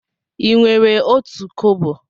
Ị nwere otu kobo?